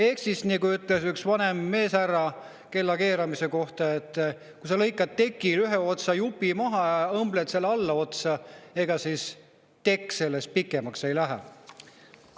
Ehk nagu ütles üks vanem härra kellakeeramise kohta: kui sa lõikad tekil ühe jupi maha ja õmbled selle allaotsa, siis ega tekk sellest pikemaks ei lähe.